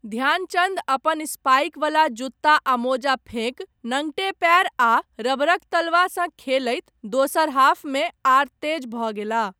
ध्यानचन्द अपन स्पाइक वला जूता आ मोजा फेंकि नंगटे पैर आ रबरक तलवासँ खेलैत दोसर हाफमे आर तेज भऽ गेलाह।